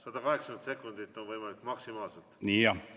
180 sekundit on võimalik maksimaalselt juurde saada.